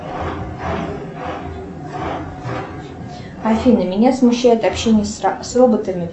афина меня смущает общение с роботами